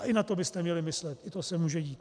A i na to byste měli myslet, i to se může dít.